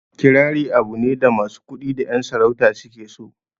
Kirari abu ne da masu kuɗi da ƴan sarauta su ke so